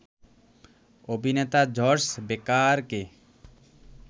অভিনেতা জর্জ বেকারকে